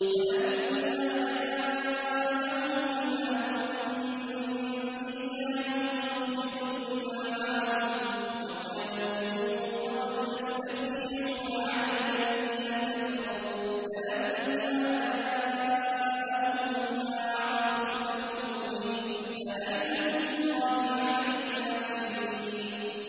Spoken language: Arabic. وَلَمَّا جَاءَهُمْ كِتَابٌ مِّنْ عِندِ اللَّهِ مُصَدِّقٌ لِّمَا مَعَهُمْ وَكَانُوا مِن قَبْلُ يَسْتَفْتِحُونَ عَلَى الَّذِينَ كَفَرُوا فَلَمَّا جَاءَهُم مَّا عَرَفُوا كَفَرُوا بِهِ ۚ فَلَعْنَةُ اللَّهِ عَلَى الْكَافِرِينَ